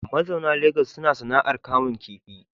Mazauna Legas suna sana’ar kamun kifi.